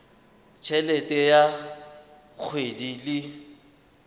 t helete ya kgwedi le